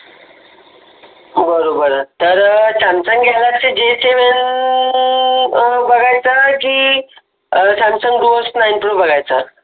बरोबर आहे तर सॅमसंग गॅलॅक्स जी सेवन बघायचं आहे की सॅमसंग